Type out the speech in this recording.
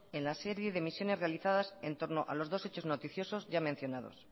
en la serie de misiones realizadas en torno a los dos hechos noticiosos ya mencionados